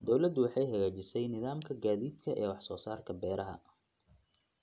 Dawladdu waxay hagaajisay nidaamka gaadiidka ee wax soo saarka beeraha.